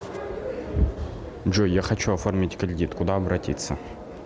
джой я хочу оформить кредит куда обратиться